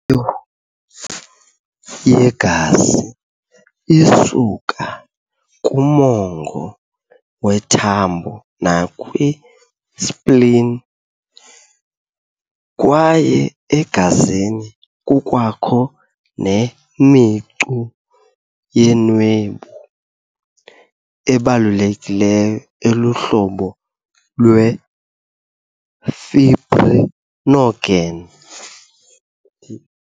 yegazi isuka kumongo wethambo nakwi"spleen", kwaye egazini kukwakho ne"micu yeenwebu" ebalulekileyo eluhlobo lwe"fibrinogen".